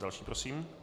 Další prosím.